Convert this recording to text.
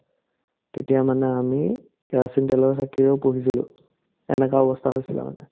তেতিয়া মানে আমি কেৰাচিন তেলৰ চাকিৰেও পঢ়িছিলো সেনেকা অৱস্থা হৈছিলে মানে